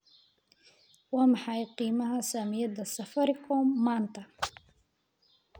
Waa maxay qiimaha saamiyada safaricom maanta?